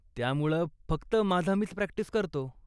त्यामुळं फक्त माझा मीच प्रॅक्टिस करतो.